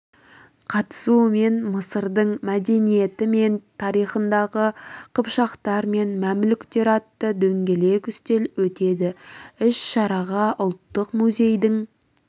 қатысуымен мысырдың мәдениеті мен тарихындағы қыпшақтар мен мәмлүктер атты дөңгелек үстел өтеді іс-шараға ұлттық музейдің